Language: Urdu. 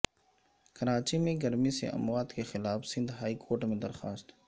کراچی میں گرمی سے اموات کے خلاف سندھ ہائی کورٹ میں درخواست